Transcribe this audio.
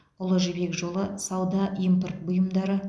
ұлы жібек жолы сауда импорт бұйымдары